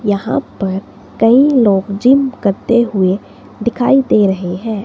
यहां पर कई लोग जिम करते हुए दिखाई दे रहे हैं।